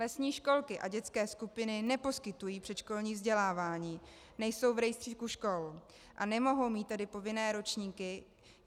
Lesní školky a dětské skupiny neposkytují předškolní vzdělávání, nejsou v rejstříku škol, a nemohou mít tedy povinné ročníky.